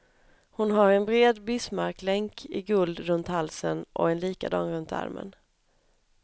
Hon har en bred bismarcklänk i guld runt halsen och en likadan runt armen.